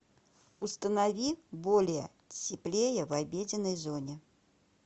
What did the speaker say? установи более теплее в обеденной зоне